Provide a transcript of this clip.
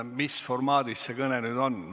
Mis formaadis see kõne nüüd on?